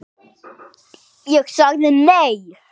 Ég sagði nei.